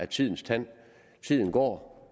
tidens tand tiden går